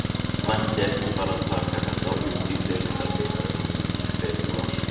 Mætti ekki bara taka þetta út í deildarbikarnum í febrúar?